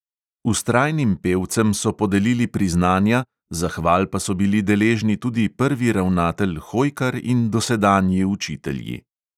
Vztrajnim pevcem so podelili priznanja, zahval pa so bili deležni tudi prvi ravnatelj hojkar in dosedanji učitelji.